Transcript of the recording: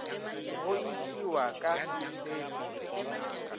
go itiwa ka sefepi dinaka